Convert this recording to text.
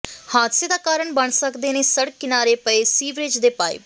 ਹਾਦਸੇ ਦਾ ਕਾਰਨ ਬਣ ਸਕਦੇ ਨੇ ਸੜਕ ਕਿਨਾਰੇ ਪਏ ਸੀਵਰੇਜ ਦੇ ਪਾਈਪ